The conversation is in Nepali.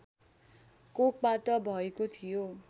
कोखबाट भएको थियो